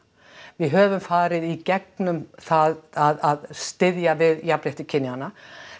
við höfum farið í gegnum það að styðja við jafnrétti kynjanna